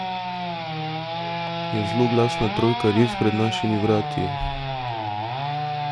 Je zloglasna trojka res pred našimi vrati?